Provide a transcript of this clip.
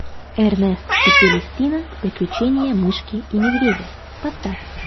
эрнест и селестина приключения мышки и медведя поставь